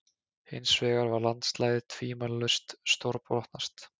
Hinsvegar var landslagið tvímælalaust stórbrotnast.